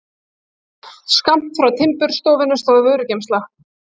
Skammt frá timburstofunni stóð vörugeymsla.